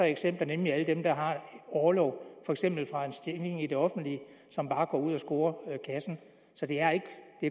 af eksempler nemlig alle dem der har orlov for eksempel fra en stilling i det offentlige og som bare går ud og scorer kassen så det er